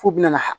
F'u bɛna